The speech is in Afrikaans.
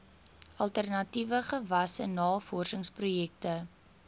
alternatiewe gewasse navorsingsprojekte